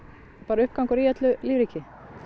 uppgangur í öllu lífríki